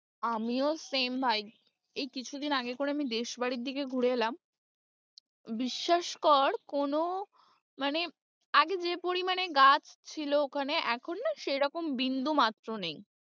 আমিও same ভাই, এই কিছুদিন আগে করে দেশ বাড়ির দিকে ঘুরে এলাম, বিশ্বাস কর কোনো মানে আগে যে পরিমানে গাছ ছিল ওখানে এখন না সেরকম বিন্দুমাত্র নেই।